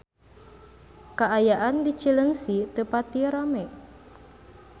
Kaayaan di Cileungsi teu pati rame